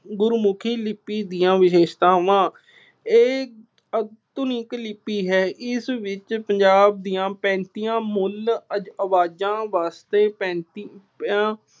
ਗੁਰਮੁਖੀ ਲਿੱਪੀ ਦੀਆਂ ਵਿਸ਼ੇਸ਼ਤਾਵਾਂ- ਇਹ ਆਧੁਨਿਕ ਲਿੱਪੀ ਹੈ। ਇਸ ਵਿੱਚ ਪੰਜਾਬ ਦੀਆਂ ਪੈਂਤੀਆਂ ਮੁੂਲ ਆਵਾਜ਼ਾਂ ਵਾਸਤੇ ਪੈਂਤੀਆਂ